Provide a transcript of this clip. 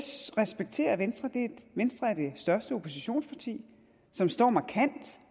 respekterer venstre venstre er det største oppositionsparti som står markant